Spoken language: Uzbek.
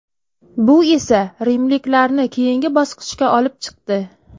Bu esa rimliklarni keyingi bosqichga olib chiqdi.